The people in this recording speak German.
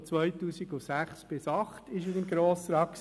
Von 2006 bis 2008 war er im Grossen Rat.